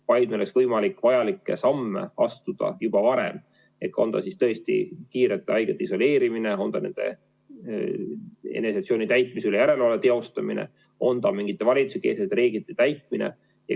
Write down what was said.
Meil peab olema võimalik vajalikke samme astuda juba varem, on see siis tõesti kiirelt haigete isoleerimine, on see nende eneseisolatsioonis olemise üle järelevalve teostamine, on see mingite valitsuse reeglite täitmine.